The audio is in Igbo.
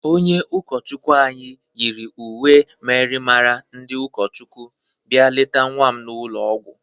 Onye ụkọchukwi anyị nyịrị uwe myịrịmara ndị ụkọchikwu bia lete nwa m n'ụlọ ọgwọ.